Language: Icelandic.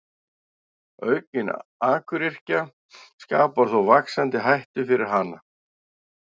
aukin akuryrkja skapar þó vaxandi hættu fyrir hana